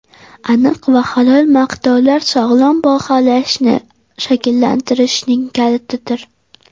Aniq va halol maqtovlar sog‘lom baholashni shakllantirishning kalitidir.